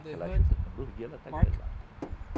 Aquela ajuda com dois dias, ela está grelando.